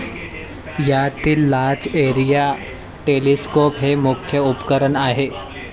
यातील large area telescope हे मुख्य उपकरण आहे.